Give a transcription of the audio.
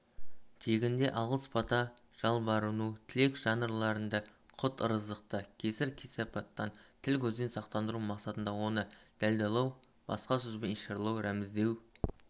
тегінде алғыс-бата жалбарыну тілек жанрларында құт-ырыздықты кесір-кесапаттан тіл-көзден сақтандыру мақсатында оны далдалау басқа сөзбен ишаралау рәміздеу